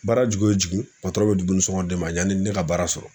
Baara jigin o jigin bɛ dumunisɔngɔ di ne ma yanni ne ka baara sɔrɔ